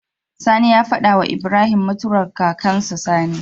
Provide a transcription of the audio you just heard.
Sani ya fada wa Ibrahim mutuwa kakan su Sani